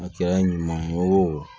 A kɛra ɲuman ye wo